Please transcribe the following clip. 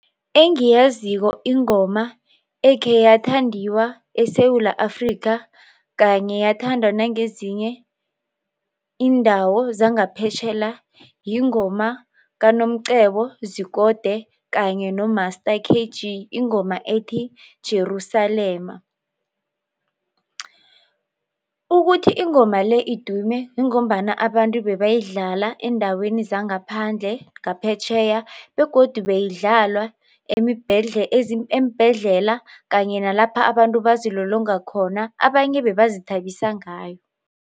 Engiyaziko ingoma ekhe yathandiwa eSewula Afrika kanye yathandwa nangezinye iindawo zangaphetjhela yingoma kaNomcebo Zikode kanye noMaster KG ingoma ethi Jerusalema. Ukuthi ingoma le idume yingombana abantu bebayidlala eendaweni zangaphandle ngaphetjheya begodu beyidlalwa eembhedlela kanye nalapha abantu bazilolonga khona abanye bebazithabise ngayo.